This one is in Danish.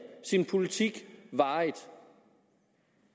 sin politik varigt